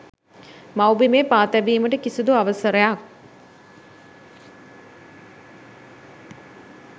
මව්බිමේ පා තැබීමට කිසුදු අවසරයක්